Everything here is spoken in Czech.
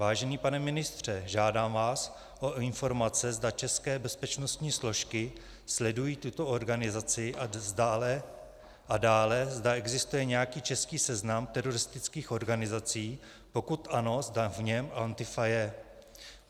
Vážený pane ministře, žádám vás o informace, zda české bezpečnostní složky sledují tuto organizaci, a dále, zda existuje nějaký český seznam teroristických organizací, pokud ano, zda v něm Antifa je.